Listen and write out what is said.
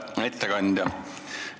Hea ettekandja!